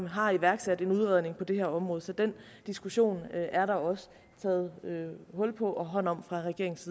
har iværksat en udredning på det område så den diskussion er der også taget hul på og hånd om fra regeringens